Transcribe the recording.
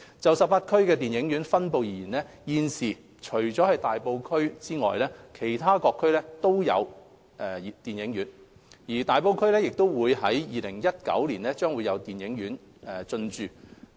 就18區電影院分布而言，現時除了大埔區外，其他各區均設有電影院。而大埔區在2019年亦將會有電影院進駐。